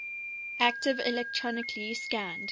active electronically scanned